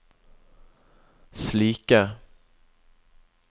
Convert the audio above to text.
slike